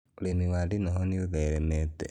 Ũrĩmi wa ndinoho nĩ ũtheremete mũno